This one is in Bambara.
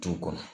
Du kɔnɔ